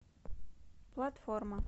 платформа